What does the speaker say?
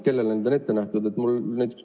Kellele need on ette nähtud?